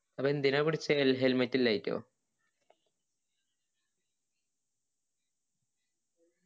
അപ്പൊ എന്തിനാ പിടിച്ചിനി helmet ഇല്ലാഞ്ഞിറ്റോ